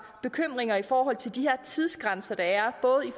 bekymringer i forhold til de her tidsgrænser der er